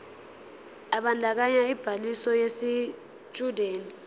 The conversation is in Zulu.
ebandakanya ubhaliso yesitshudeni